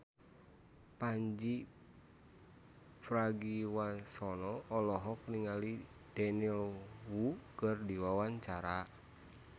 Pandji Pragiwaksono olohok ningali Daniel Wu keur diwawancara